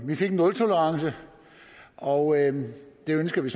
vi fik en nultolerance og det ønsker vi